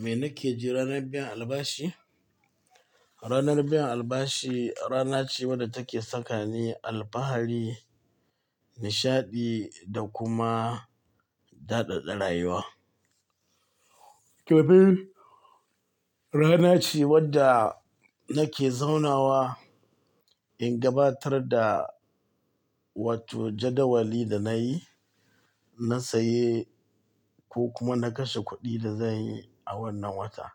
Me nake ji ranar biyan albashi? Ranar biyan albashi rana ce wadda take sakani alfahari, nishaɗi da kuma daɗaɗa rayuwa. Domin rana ce wadda nake zaunawa in gabatar da watto jadawali da nayi, na saye ko kuma na kashe kuɗi da zanyi a wannan wata.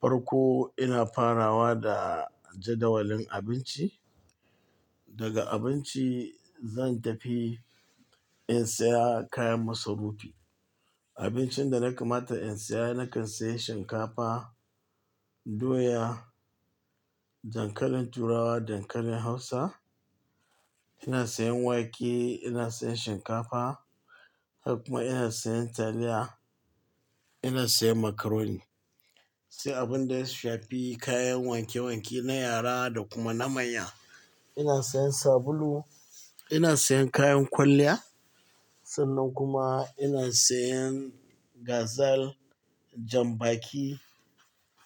Farko ina farawa da jadawalin abinci. Daga abinci zan tafi in saya kayan masarufi. Abincin da na kamata in saya nakan sayi shinkafa, doya, dankalin turawa, dankalin hausa. Ina siyan wake, ina siyan shinkafa, haka kuma ina siyan taliya, ina siyan macaroni, sai abin da ya shafi kayan wanke wanke na yara da kuma na manya. Ina siyan sabulu, ina siyan kayan kwalliya, sannan kuma ina siyan gazal, janbaki,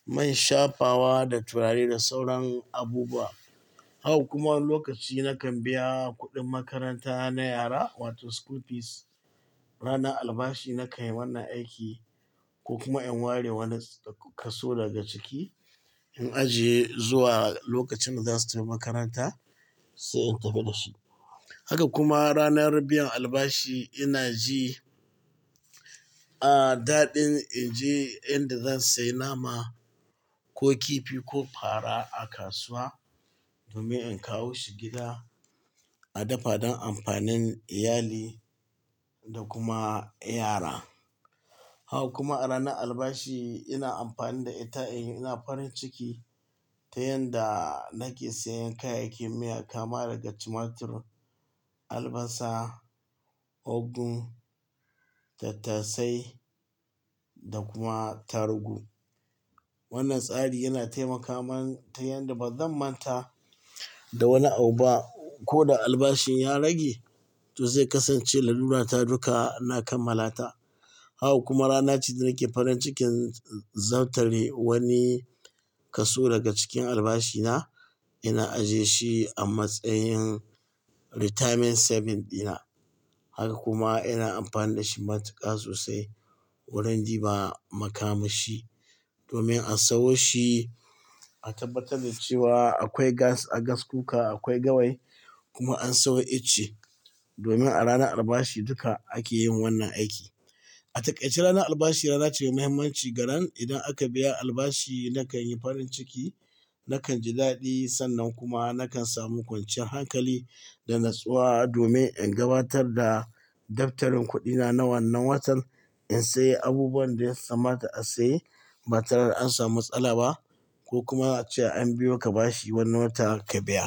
man shafawa da turare da sauran abubuwa. Haka kuma wani lokaci nakan biya kuɗin makaranta na yara wato school fees. Ranar albashi na kan yi wannan aiki ko kuma in ware wani kaso daga ciki, in ajiye zuwa lokacin da za su tafi makaranta sai in tafi da su. Haka kuma ranar biyan albashi ina ji, a daɗin in je inda zan sayi nama ko kifi ko fara a kasuwa domin in kawo shi gida a dafa don amfanin iyali da kuma ƴara. Haka kuma a ranar albashi ina amfani da ita in yi ina farin ciki ta yanda nake siyan kayayyakin miya kama daga tumatur, albasa, ogun, tattasai da kuma tarugu. Wannan tsari yana taimaka min ta yanda bazan manta da wani abu ba. Ko da albashin ya rage to zai kasance lalura ta duka na kammala ta. Hau kuma rana ce da nake farin cikin zab tare wani kaso daga cikin albashina. Ina ajiyeshi a matsayin retirement savings dina. Haka kuma ina amfani da shi matuƙa sosai wurin ɗiba makamashi domin a sawo shi a tabbatar da cewa akwai gas a gaskuka, akwai gawayi kuma an sayo icce domin a ranar albashi duka ake yin wannan aiki. A takaice ranar albashi rana ce mai muhimmanci garan idan aka biya albashi nakan yi farin ciki, nakan ji daɗi sannan kuma nakan samu kwanciyar hankali da natsuwa domin in gabatar da daftarin kuɗina na wannan watan, in sayi abubuwan da ya kamata a saye ba tare an samu matsala ba ko kuma cewa an biyo ka bashi wani wata ka biya.